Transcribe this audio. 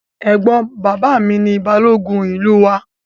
Ẹ̀gbọ́n bàbá mi ni Balógun ìlú wa